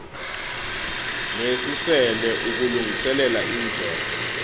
nesisele ukulungiselela indlela